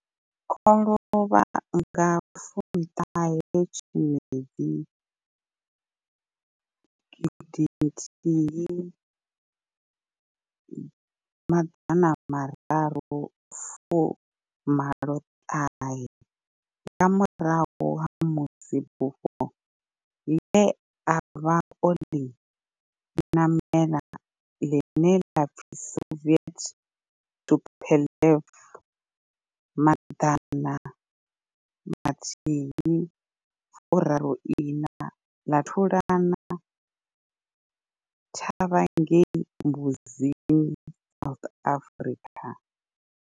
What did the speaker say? O lovha nga 19 Tshimedzi 1986 nga murahu ha musi bufho le a vha o ḽi ṋamela, ḽine ḽa pfi Soviet Tupolev 134 ḽa thulana thavha ngei Mbuzini, South Africa.